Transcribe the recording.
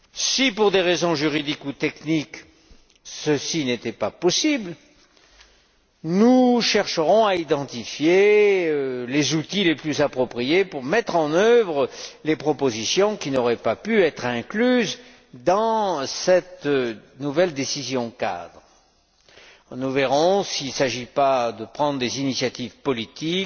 Si, pour des raisons juridiques ou techniques, ceci n'était pas possible, nous chercherons à identifier les outils les plus appropriés pour mettre en œuvre les propositions qui n'auraient pas pu être incluses dans cette décision cadre. Nous verrons s'il y a lieu de prendre des initiatives politiques,